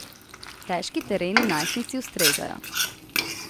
Težki tereni najstnici ustrezajo.